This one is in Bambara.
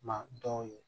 Ma dɔw ye